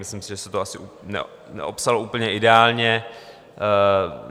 Myslím si, že se to asi neopsalo úplně ideálně.